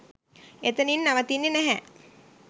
එතනින් නවතින්නෙ නැහැ.